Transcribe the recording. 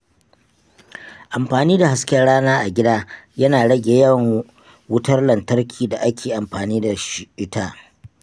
Amfani da hasken rana a gida yana rage yawan wutar lantarkin da ake amfani da ita.